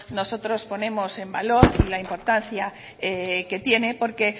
nosotros ponemos en valor la importancia que tiene porque